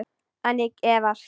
En ég efast.